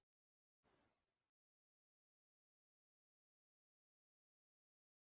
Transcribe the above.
Þegar ég kom heim um haustið kvæntist ég Svövu Skaftadóttur.